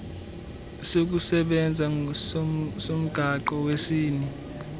sokusebenza somgaqo wesini